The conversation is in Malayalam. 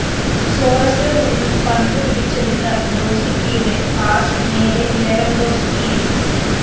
സോറസില്‍നിന്നും പന്ത് പിടിച്ചെടുത്ത ഗ്രോസിക്കിയുടെ പാസ്‌ നേരെ ലെവന്‍ഡോവ്‌സ്‌കിയിലേക്ക്